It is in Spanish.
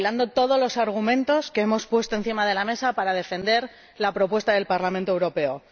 recopilando todos los argumentos que hemos puesto encima de la mesa para defender la propuesta del Parlamento Europeo.